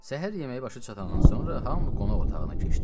Səhər yeməyi başa çatandan sonra hamı qonaq otağına keçdi.